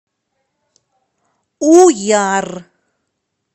уяр